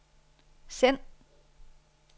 send